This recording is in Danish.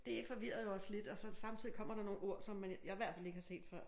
Det forvirrede jo også lidt og så samtidig kommer der nogle ord som man jeg i hvert fald ikke har set før